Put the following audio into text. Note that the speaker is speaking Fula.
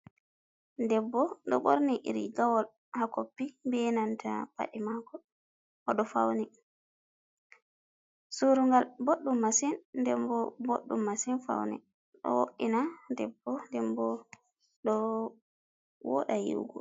Debbo do borni rigawol ha koppi, be nanta paɗe mako o do fauni. Suru'ngal boɗɗum masin denbo boɗɗum masin. Faune ɗo wo’ina debbo dembo ɗo woɗa yi’ugo.